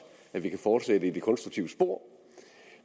at vi kan fortsætte i det konstruktive spor